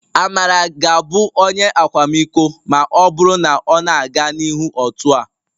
Amara ga-abụ Onye akwamiko... ma ọ bụrụ na ọ na-aga n'ihu otu a